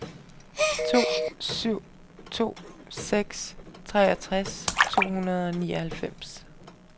to syv to seks treogtres to hundrede og nioghalvfems